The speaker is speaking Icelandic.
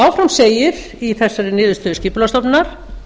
áfram segir í þessari niðurstöðu skipulagsstofnunar